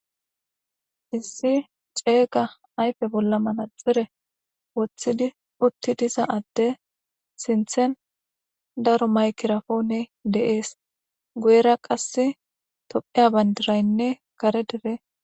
Issi ceega ayife bolla manaxite wotiddi utida adde sinthan daro makirapone dees.guyera qassi toophiya banidirayinne kare dere.